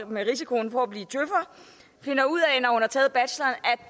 med risiko for at blive djøfer finder ud